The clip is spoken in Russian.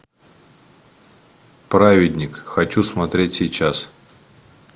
праведник хочу смотреть сейчас